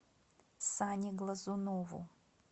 сане глазунову